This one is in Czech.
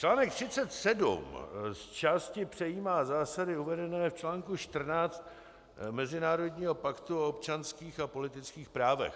Článek 37 zčásti přejímá zásady uvedené v článku 14 Mezinárodního paktu o občanských a politických právech.